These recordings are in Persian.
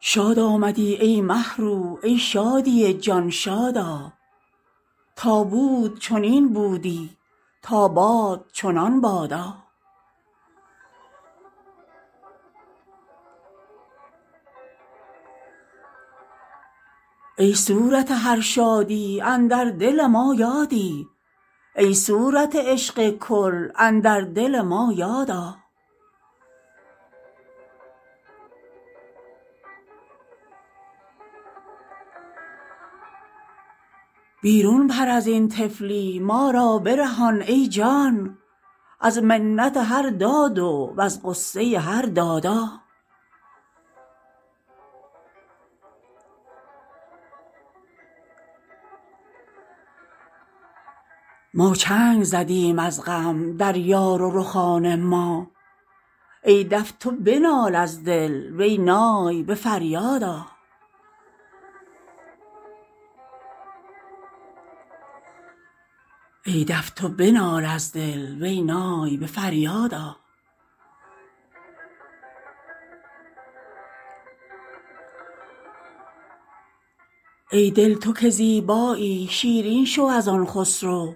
شاد آمدی ای مه رو ای شادی جان شاد آ تا بود چنین بودی تا باد چنان بادا ای صورت هر شادی اندر دل ما یادی ای صورت عشق کل اندر دل ما یاد آ بیرون پر از این طفلی ما را برهان ای جان از منت هر دادو وز غصه هر دادا ما چنگ زدیم از غم در یار و رخان ما ای دف تو بنال از دل وی نای به فریاد آ ای دل تو که زیبایی شیرین شو از آن خسرو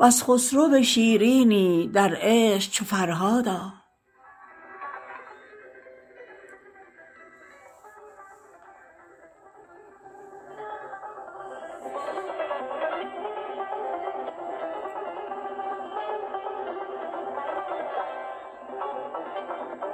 ور خسرو شیرینی در عشق چو فرهاد آ